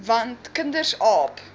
want kinders aap